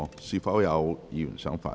是否有議員想發言？